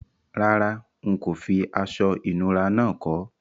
Rárá, n kò fi aso ìnura náà ko